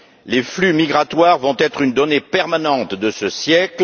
Les flux migratoires vont être une donnée permanente de ce siècle.